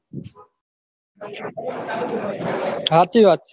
સાચી વાત છે